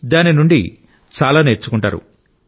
దాని నుండి చాలా నేర్చుకుంటారు